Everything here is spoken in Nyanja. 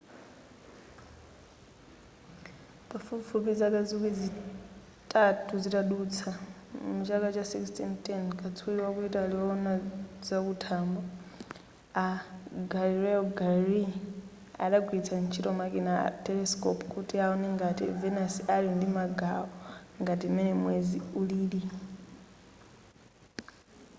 pafupifupi zaka zikwi zitatu zitadutsa muchaka cha 1610 katswiri waku italy wowona zakuthambo a galileo galilei adagwiritsa ntchito makina a telescope kuti awone ngati venus ali ndi magawo ngati m'mene mwezi ulili